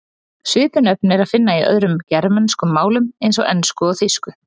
Svipuð nöfn er að finna í öðrum germönskum málum eins og ensku og þýsku.